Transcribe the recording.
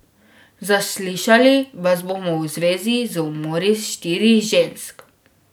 Zaslišali vas bomo v zvezi z umori štirih žensk.